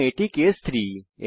এবং এটি হল কেস 3